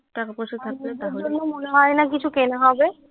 মনে হয় না কিছু কেনা হবে